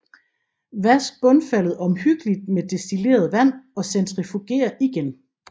Vask bundfaldet omhyggeligt med destilleret vand og centrifuger igen